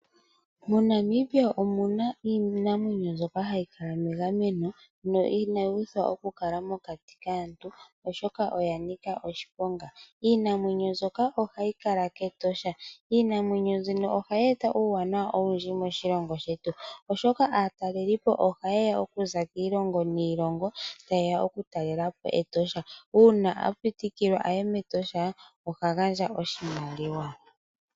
MoNamibia omuna iinamwenyo mbyoka hayi kala megameno no inayi uthwa okukala mokati kaantu oshoka oya nika oshiponga. Iinamwenyo mbyoka ohayi kala kEtosha. Iinamwenyo mbino ohayi eta uuwanawa owundji moshilongo shetu, oshoka aatalelipo ohayeya okuza kiilongo niilongo tayeya okutalelepo Etosha. Uuna a pitikilwa a ye mEtosha oha gandja oshimaliwa.